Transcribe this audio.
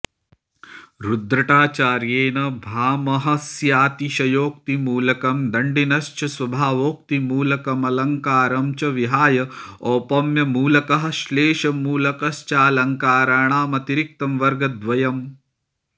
रुद्रटाचार्येण भामहस्यातिशयोक्तिमूलकम् दण्डिनश्च स्वभावोक्तिमूलकमलङ्कारं च विहाय औपम्यमूलकः श्लेषमूलकश्चालङ्काराणामतिरिक्तं वर्गद्वयं